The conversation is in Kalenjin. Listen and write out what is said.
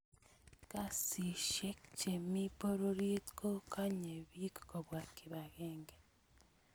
kasisheck che mi pororiet ko Kanye bik kopwa kibakengee